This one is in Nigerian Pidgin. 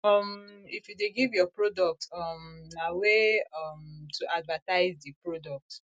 um if you de give your product um na way um to advertise di product